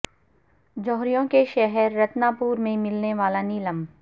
جوہریوں کے شہر رتنا پورہ میں ملنے والا نیلم